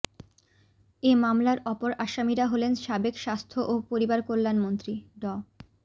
এ মামলার অপর আসামিরা হলেন সাবেক স্বাস্থ্য ও পরিবারকল্যাণমন্ত্রী ড